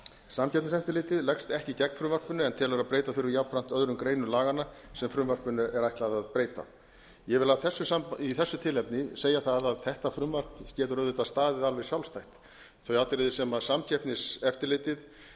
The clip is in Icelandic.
samkeppniseftirlitið leggst ekki gegn frumvarpinu en telur að breyta þurfi jafnframt öðrum greinum laganna sem frumvarpinu er ætlað að breyta ég vil í þessu tilefni segja það að þetta frumvarp getur auðvitað staðið alveg sjálfstætt þau atriði sem samkeppniseftirlitið